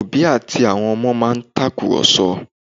Òbí àti àwọn ọmọ wọn máa ń tàkùrọ̀sọ